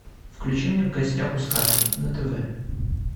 включи мне в гостях у сказки на тв